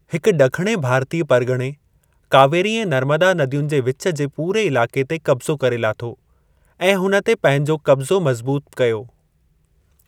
हिक ड॒खणे भारतीय परगि॒णे कावेरी ऐं नर्मदा नदियुनि जे विच जे पूरे इलाके़ ते क़ब्ज़ो करे लाथो ऐं हुन ते पंहिंजो क़ब्ज़ो मज़्बूत कयो।